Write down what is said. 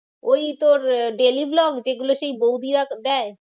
ওই তোর আহ daily vlog যেগুলো সেই বৈদিরা দেয়।